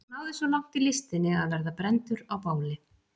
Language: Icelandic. Hann náði svo langt í listinni að verða brenndur á báli.